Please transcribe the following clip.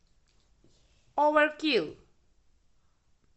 оверкилл